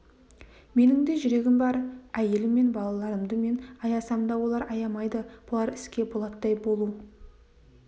менің де жүрегім бар әйелім мен балаларымды мен аясам да олар аямайды болар іске болаттай болу